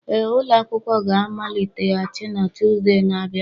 Ee, ụlọ akwụkwọ ga-amaliteghachi na Tuzdee na-abịa.